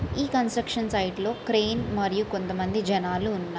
ఈ construction site లో crane మరియు కొంతమంది జనాలు ఉన్నారు.